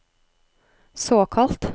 såkalt